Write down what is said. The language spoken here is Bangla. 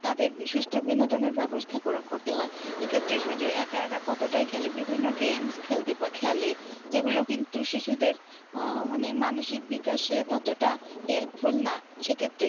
তাদের সুস্থ বিনোদনের ব্যবস্থা ~ করতে হয় এক্ষেত্রে শুধু একা একা কতটাই খেলে বিভিন্ন games খেলতে খেলে সেগুলো কিন্তু শিশুদের আহ মানে মানসিক বিকাশে ততটা helpful না সেক্ষেত্রে